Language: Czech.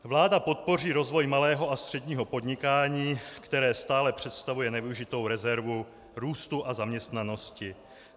"Vláda podpoří rozvoj malého a středního podnikání, které stále představuje nevyužitou rezervu růstu a zaměstnanosti.